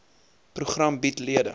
program bied lede